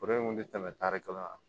Foro in kun ti tɛmɛ tari kelen